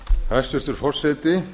hæstvirtur forseti